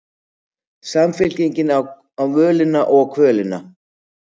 Samfylkingin á völina og kvölina